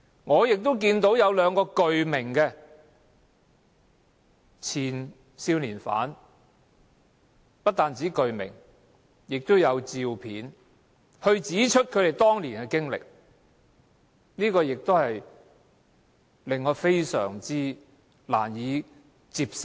我亦得知有兩位前少年罪犯，不單具名還提供照片，指出他們當年的被虐經歷，亦令我感到非常難受。